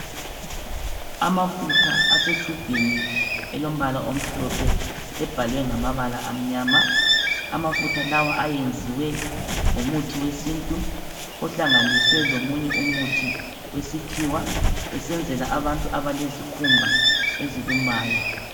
Amafutha asetshubhini elombala omhlophe. Ebhalwe ngamabala amnyama. Amafutha lawa ayenziwe ngomuthi wesintu. Ohlanganiswe lomunye umuthi wesikhiwa.. Usenzelwa abantu abalezikhumba ezilumayo.